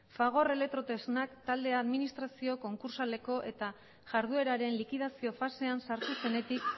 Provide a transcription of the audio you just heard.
fagor elektrotresnak taldea administrazio konkursaleko eta jardueraren likidazio fasean sartu zenetik